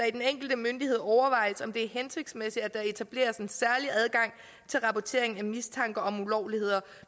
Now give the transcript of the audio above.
i den enkelte myndighed overvejes om det er hensigtsmæssigt at der etableres en særlig adgang til rapportering af mistanke om ulovligheder